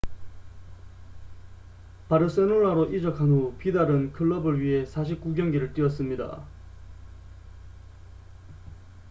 바르셀로나로 이적한 후 비달은 클럽을 위해 49경기를 뛰었습니다